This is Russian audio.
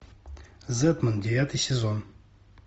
зетман девятый сезон